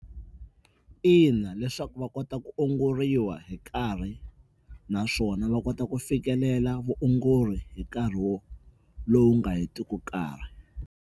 Ina leswaku va kota ku ongoriwa hi nkarhi naswona va kota ku fikelela vuongori hi nkarhi wo lowu nga hetiki nkarhi.